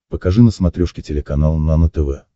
покажи на смотрешке телеканал нано тв